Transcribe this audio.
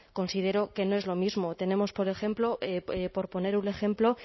considero que no es lo mismo tenemos por ejemplo por poner un ejemplo